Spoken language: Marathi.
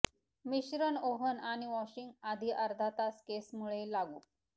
मिश्रण ओव्हन आणि वॉशिंग आधी अर्धा तास केस मुळे लागू